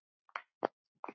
Þín Eydís.